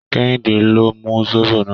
Kẹ́hìndé ló mu zobo náà.